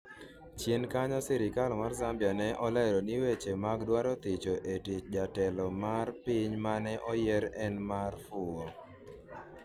chien kanyo sirikal mar Zambia ne olero ni weche mag dwaro thicho e tich jatelo mer piny mane oyier en mar fuwo